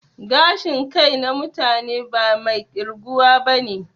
Gashin kai na mutane ba mai ƙirguwa bane